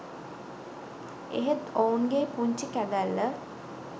එහෙත් ඔවුන්ගේ පුංචි කැදැල්ල